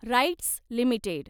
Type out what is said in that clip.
rights limited